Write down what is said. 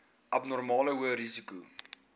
abnormale hoë risiko